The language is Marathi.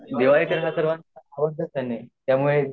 दिवाळीदिवाळीतर सर्वांनाच आवडते दिवाळीमुळेत्यामुळे